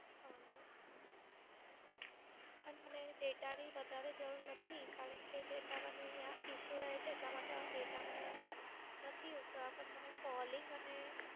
હા મેડમ. મને Data ની વધારે જરૂર નથી કારણ કે Data મને અહીંયા Issue રહે છે એટલા માટે Data મને નથી Use કરવા, પણ મને Calling અને